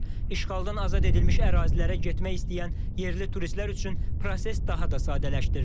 İşğaldan azad edilmiş ərazilərə getmək istəyən yerli turistlər üçün proses daha da sadələşdirilir.